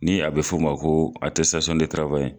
Ni a be f'o ma ko atɛsitasɔn de tarawayi